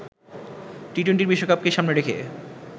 T twenty বিশ্বকাপকে সামনে রেখে